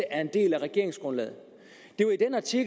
at det er regeringsgrundlaget